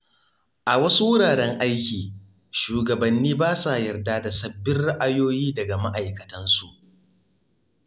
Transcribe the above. A wasu wuraren aiki, shugabanni ba sa yarda da sabbin ra’ayoyi daga ma’aikatansu.